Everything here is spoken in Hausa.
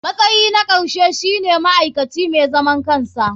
Matsayi na ƙarshe shine ma'aikaci mai zaman kansa.